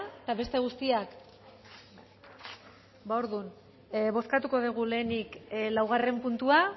eta beste guztiak ba orduan bozkatuko dugu lehenik laugarren puntua